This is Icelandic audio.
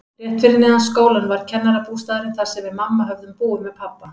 Rétt fyrir neðan skólann var kennarabústaðurinn, þar sem við mamma höfðum búið með pabba.